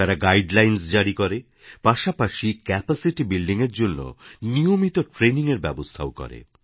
তারা গাইডলাইনস জারি করে পাশাপাশি ক্যাপাসিটিবিল্ডিং এর জন্য নিয়মিত ট্রেইনিং এর ব্যবস্থাও করে